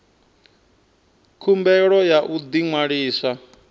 khumbelo ya u ḓi ṅwalisa